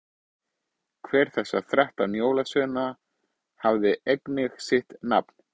hver þessara þrettán jólasveina hafði einnig sitt nafn